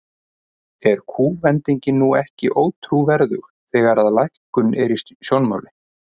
Er kúvendingin nú ekki ótrúverðug, þegar að lækkun er í sjónmáli?